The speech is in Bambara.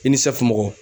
I ni safunɔgɔ